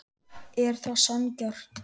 Er það sanngjarnt?